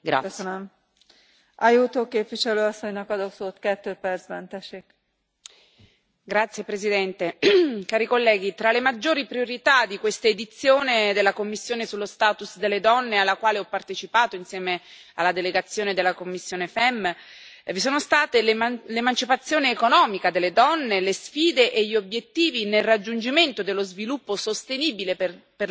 Signora Presidente, onorevoli colleghi, tra le maggiori priorità di questa edizione della Commissione sulla condizione delle donne, alla quale ho partecipato insieme alla delegazione della commissione FEMM, vi sono state l'emancipazione economica delle donne, le sfide e gli obiettivi nel raggiungimento dello sviluppo sostenibile per le donne e per le ragazze e l'emancipazione delle donne indigene.